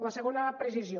la segona precisió